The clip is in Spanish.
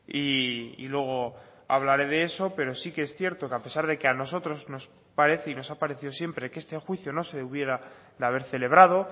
y luego hablaré de eso pero sí que es cierto que a pesar de que a nosotros nos parece y nos ha parecido siempre que este juicio no se hubiera de haber celebrado